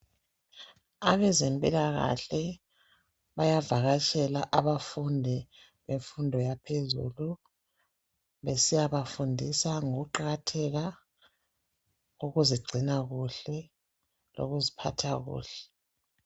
Abezempilakahle bayavakatshela abafundi bemfundo yaphezulu besiyabafundisa ngokuqakatheka, ukuzigcina kuhle lokuziphatha kuhle.